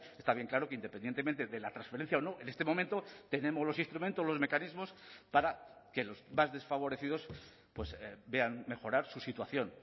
está bien claro que independientemente de la transferencia o no en este momento tenemos los instrumentos los mecanismos para que los más desfavorecidos vean mejorar su situación